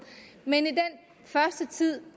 men i den første tid